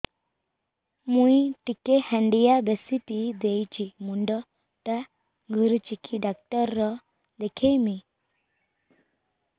ମୁଇ ଟିକେ ହାଣ୍ଡିଆ ବେଶି ପିଇ ଦେଇଛି ମୁଣ୍ଡ ଟା ଘୁରୁଚି କି ଡାକ୍ତର ଦେଖେଇମି